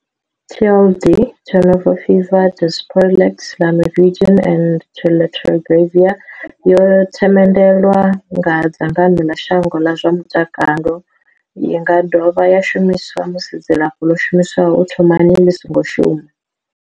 TLD, Tenofovir disoproxil, Lamivudine and dolutegravir, yo themendelwa nga dzangano ḽa shango ḽa zwa mutakalo. I nga dovha ya shumiswa musi dzilafho ḽo shumiswaho u thomani ḽi songo shuma.